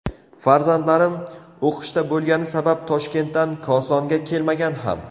Farzandlarim o‘qishda bo‘lgani sabab Toshkentdan Kosonga kelmagan ham.